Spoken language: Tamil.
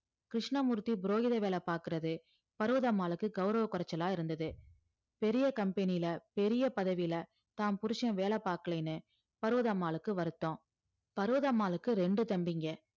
கிருஷ்ணமூர்த்தி புரோகிதர் வேல பாக்குறது பர்வதம்மாளுக்கு கௌரவ குறைச்சலா இருந்தது பெரிய company ல பெரிய பதவியில தான் புருசன் வேல பாக்கலேன்னு பர்வதம்மாளுக்கு வருத்தம் பர்வதம்மாளுக்கு ரெண்டு தம்பிங்க